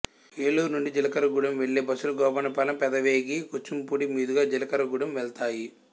ఏలూరు నుండి జీలకర్రగూడెం వెళ్ళే బస్సులు గోపన్నపాలెం పెదవేగి కూచింపూడి మీదుగా జీలకర్రగూడెం వెళతాయి